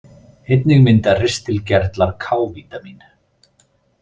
Einnig mynda ristilgerlar K-vítamín.